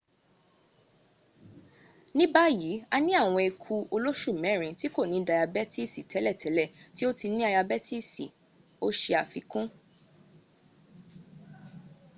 ní báyìí a ní àwọn ẹku olóṣù mẹ́rin tí kò ní dayabẹ́tìsì tẹ́lẹ̀tẹ́lẹ̀ tó ti ní ayabẹ́tìsì̀,” o ṣe àfikún